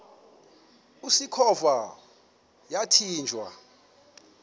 usikhova yathinjw a